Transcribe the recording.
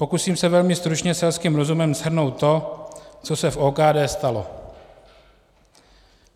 Pokusím se velmi stručně selským rozumem shrnout to, co se v OKD stalo.